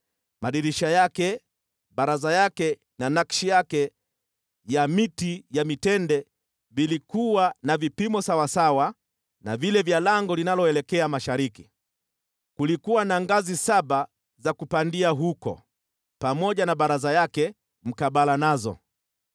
Madirisha yake, baraza yake na nakshi yake ya miti ya mitende vilikuwa na vipimo sawasawa na vile vya lango linaloelekea mashariki. Kulikuwa na ngazi saba za kupandia huko, pamoja na baraza yake mkabala nazo.